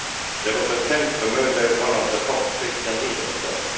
There was an attempt to murder one of the top Christian leaders there.